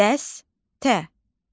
Dəstə.